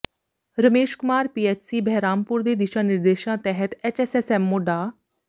Ramesh Kumar PHC Bahrampur ਦੇ ਦਿਸ਼ਾ ਨਿਰਦੇਸ਼ਾਂ ਤਹਿਤ ਐੱਸਐੱਚਸਐੱਸਐੱਮਓ ਡਾ